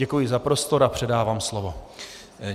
Děkuji za prostor a předávám slovo.